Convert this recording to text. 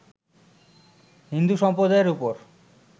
হিন্দু সম্প্রদায়ের উপর